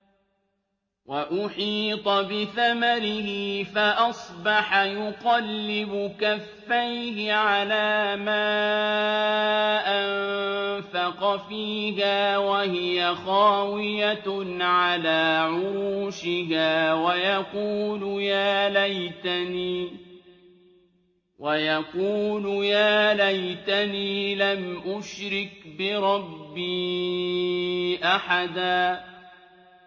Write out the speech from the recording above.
وَأُحِيطَ بِثَمَرِهِ فَأَصْبَحَ يُقَلِّبُ كَفَّيْهِ عَلَىٰ مَا أَنفَقَ فِيهَا وَهِيَ خَاوِيَةٌ عَلَىٰ عُرُوشِهَا وَيَقُولُ يَا لَيْتَنِي لَمْ أُشْرِكْ بِرَبِّي أَحَدًا